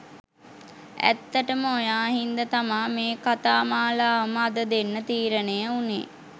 ඇත්තටම ඔයා හින්දා තමා මේ කතාමාලාවම අද දෙන්න තීරණය වුණේ.